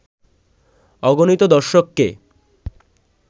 অগণিত দর্শককে